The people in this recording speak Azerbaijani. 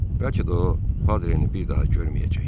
Bəlkə də o Padreni bir daha görməyəcək.